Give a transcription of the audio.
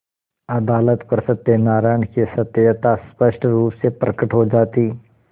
अदालत पर सत्यनारायण की सत्यता स्पष्ट रुप से प्रकट हो जाती